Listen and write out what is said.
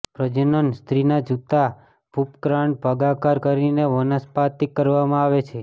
પ્રજનન સ્ત્રીના જૂતા ભૂપ્રકાંડ ભાગાકાર કરીને વનસ્પાતિક કરવામાં આવે છે